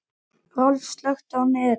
Rolf, slökktu á niðurteljaranum.